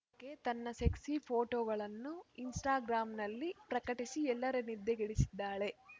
K ತನ್ನ sexy ಫೋಟೋಗಳನ್ನು ಇನ್‌ಸ್ಟಾಗ್ರಾಮ್‌ನಲ್ಲಿ ಪ್ರಕಟಿಸಿ ಎಲ್ಲರ ನಿದ್ದೆಗೆಡಿಸಿದ್ದಾಳೆ